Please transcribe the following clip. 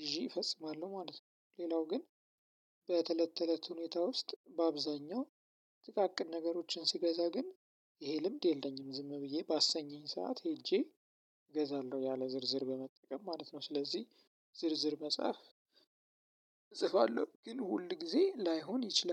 ግዢ እፈጽማለሁ ማለት ነው። ሌላው ግን በተለት ተለት ሁኔታ ውስጥ በአብዛኛው ጥቃቅን ነገሮችን ስገዛ ግን ይሄ ልምድ የለኝም ዝም ብዬ ባሰኘኝ ሰዓት ሄጄ ገዛለሁ ያለ ዝርዝር በመጠቀም ማለት ነው። ስለዚህ ዝርዝር መጻፍ ጽፋለሁ ግን ሁል ጊዜ ላይሆን ይችላል።